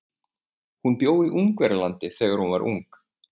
Hún bjó í Ungverjalandi þegar hún var ung.